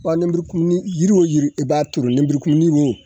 Ɔ lenburukumuni yiri o yiri i b'a turu lenburukumuni wo